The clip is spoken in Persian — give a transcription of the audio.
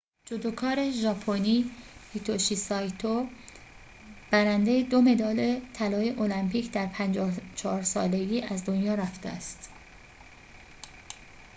جودوکار ژاپنی هیتوشی سایتو برنده دو مدال طلای المپیک در ۵۴ سالگی از دنیا رفته است